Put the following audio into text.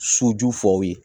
Soju fɔ aw ye